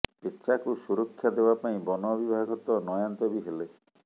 ପେଚାକୁ ସୁରକ୍ଷା ଦେବା ପାଇଁ ବନ ବିଭାଗ ତ ନୟାନ୍ତ ବି ହେଲେ